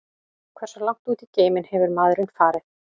Hversu langt út í geiminn hefur maðurinn farið?